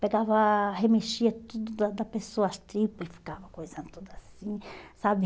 Pegava, remexia tudo da da pessoa, as tripas, e ficava coisando tudo assim, sabe?